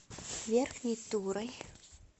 верхней турой